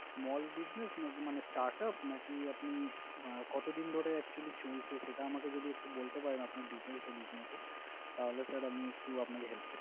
Small business নাকি মানে startup নাকি আপনি কতদিন ধরে actually চলছে সেটা আমাকে যদি একটু বলতে পারেন আপনার detail এ business এর তাহলে sir আমি একটু আপনাকে help